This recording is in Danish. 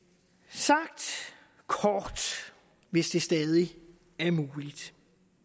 sagt kort hvis det stadig er muligt